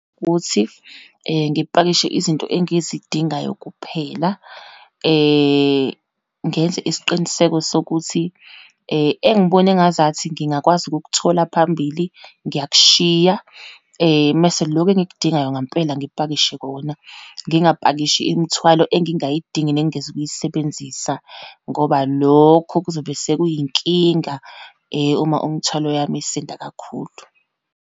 Ukuthi ngipakishe izinto engizidingayo kuphela. Ngenze isiqiniseko sokuthi engibona engazathi ngingakwazi ukukuthola phambili, ngiyakushiya mese lokhu engikudingayo ngampela ngipakishe kona, ngingapakishi imithwalo engingayidingi nengingezu kuyisebenzisa, ngoba lokho kuzobe sekuyinkinga uma umthwalo yami isinda kakhulu.